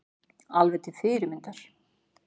Alveg til fyrirmyndar